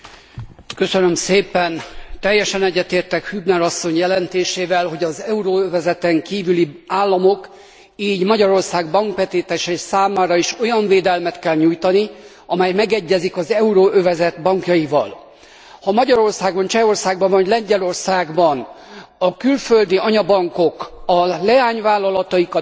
Teljesen egyetértek Hübner asszony jelentésével, hogy az euróövezeten kívüli államok, így Magyarország bankbetétesei számára is olyan védelmet kell nyújtani, amely megegyezik az euróövezet bankjaiéval. Ha Magyarországon, Csehországban vagy Lengyelországban a külföldi anyabankok a leányvállalataikat fiókká alakíthatják át,